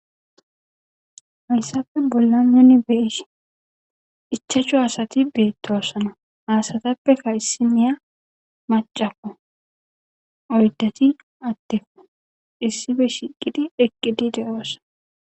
Haysape bollan nuni be7ishin ichchachu asathi beeththoosona; ha asathapeka issiniya maccakko; oyddathi addekko; issipe shiiqidi eqqidi de7oos.